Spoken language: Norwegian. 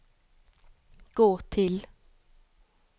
gå til